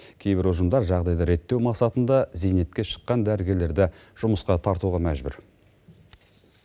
кейбір ұжымдар жағдайды реттеу мақсатында зейнетке шыққан дәрігерлерді жұмысқа тартуға мәжбүр